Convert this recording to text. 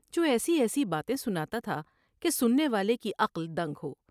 جوایسی ایسی باتیں سنا تا تھا کہ سننے والے کی عقل دنگ ہو ۔